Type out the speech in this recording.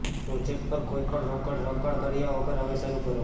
project પર કોઈપણ રોકડ રોકાણ કર્યા વગર હવે શરૂ કરો